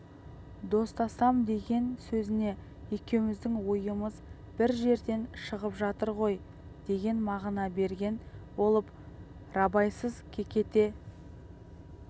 достасамдеген сөзіне екеуміздің ойымыз бір жерден шығып жатыр ғой деген мағына берген болып рабайсыз кекете